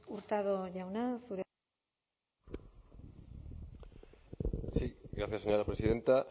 hurtado jauna zurea sí gracias señora presidenta